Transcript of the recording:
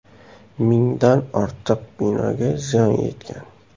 Mingdan ortiq binoga ziyon yetgan.